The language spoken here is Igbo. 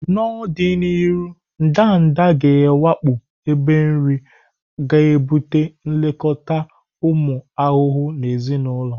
N'ọdịnihu, ndanda ga-awakpo ebe nri, ga ebute nlekọta ụmụ ahụhụ na ezinụlọ.